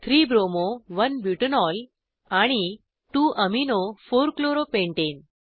3 bromo 1 butanol आणि 2 amino 4 chloro pentane